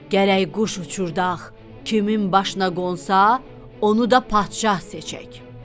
Gərək quş uçurdaq, kimin başına qonsa, onu da padşah seçək.